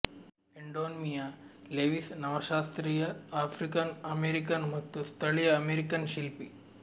Edmonia Lewis ನವಶಾಸ್ತ್ರೀಯ African American ಮತ್ತು ಸ್ಥಳೀಯ ಅಮೆರಿಕನ್ ಶಿಲ್ಪಿ